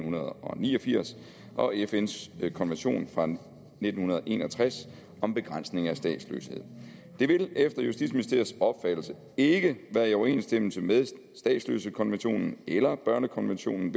ni og firs og fns konvention fra nitten en og tres om begrænsning af statsløshed det vil efter justitsministeriets opfattelse ikke være i overensstemmelse med statsløsekonventionen eller børnekonventionen